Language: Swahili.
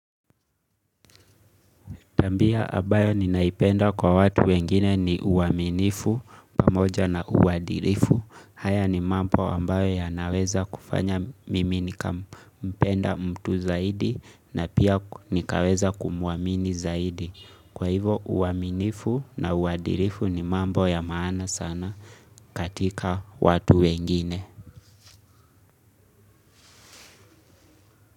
Tambia abayo ninaipenda kwa watu wengine ni uwaminifu, pamoja na uwadilifu. Haya ni mambo ambayo ya naweza kufanya mimi nikampenda mtu zaidi na pia nikaweza kumuamini zaidi. Kwa hivo uwaminifu na uwadilifu ni mambo ya maana sana katika watu wengine.